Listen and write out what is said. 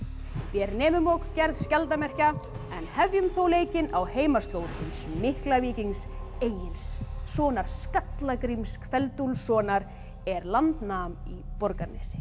vér nemum og gerð skjaldarmerkja en hefjum þó leikinn á heimaslóð hins mikla víkings Egils sonar skalla Gríms kveld Úlfssonar er land nam í Borgarnesi